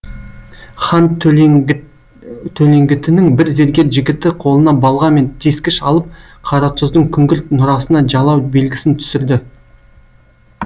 хан төлеңгітінің бір зергер жігіті қолына балға мен тескіш алып қаратұздың күңгірт нұрасына жалау белгісін түсірді